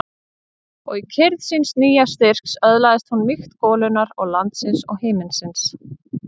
Og í kyrrð síns nýja styrks öðlaðist hún mýkt golunnar og landsins og himinsins.